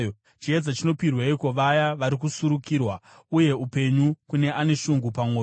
“Chiedza chinopirweiko vaya vari kusurukirwa, uye upenyu kune ane shungu pamwoyo,